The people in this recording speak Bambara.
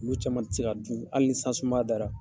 U b'o caman tigɛ ka dun, hali ni san sumaya dara.